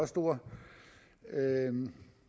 stor